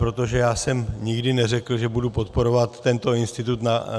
Protože já jsem nikdy neřekl, že budu podporovat tento institut.